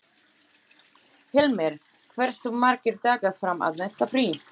Hilmir, hversu margir dagar fram að næsta fríi?